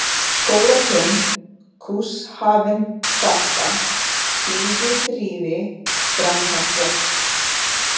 Skólatún, Cuxhavengata, Stígprýði, Dranghella